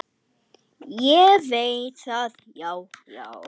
Ég veit það, já, já.